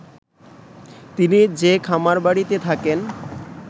তিনি যে খামারবাড়িতে থাকেন